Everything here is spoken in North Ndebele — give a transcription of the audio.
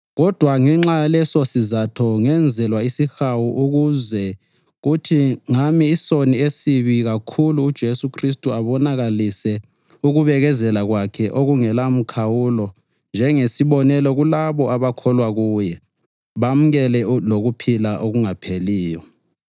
Kodwa ngenxa yalesosizatho ngenzelwa isihawu ukuze kuthi ngami isoni esibi kakhulu uJesu Khristu abonakalise ukubekezela kwakhe okungelamkhawulo njengesibonelo kulabo abakholwa kuye bamukele lokuphila okungapheliyo.